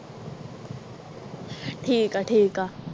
ਠੀਕ ਆ ਠੀਕ ਆ।